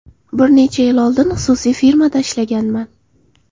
Bir necha yil oldin xususiy firmada ishlaganman.